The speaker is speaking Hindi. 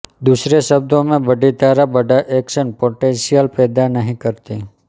दूसरे शब्दों में बड़ी धारा बड़ा ऐक्शन पोटेंशिअल पैदा नहीं करती